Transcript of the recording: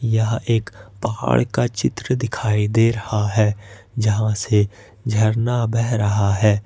यहा एक पहाड़ का चित्र दिखाई दे रहा है जहां से झरना बह रहा है।